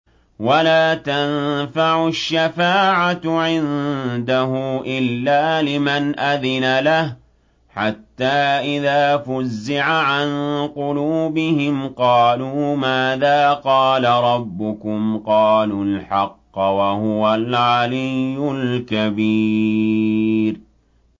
وَلَا تَنفَعُ الشَّفَاعَةُ عِندَهُ إِلَّا لِمَنْ أَذِنَ لَهُ ۚ حَتَّىٰ إِذَا فُزِّعَ عَن قُلُوبِهِمْ قَالُوا مَاذَا قَالَ رَبُّكُمْ ۖ قَالُوا الْحَقَّ ۖ وَهُوَ الْعَلِيُّ الْكَبِيرُ